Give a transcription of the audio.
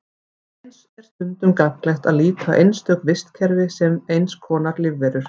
Eins er stundum gagnlegt að líta á einstök vistkerfi sem eins konar lífverur.